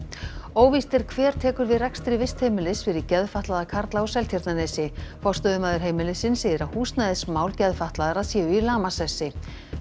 óvíst er hver tekur við rekstri vistheimilis fyrir geðfatlaða karla á Seltjarnarnesi forstöðumaður heimilisins segir að húsnæðismál geðfatlaðra séu í lamasessi